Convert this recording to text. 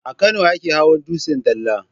A Kano ake hawan dutsen dala.